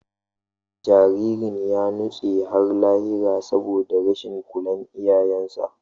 Jaririn ya nutse har lahira saboda rashin kulawar iyayensa.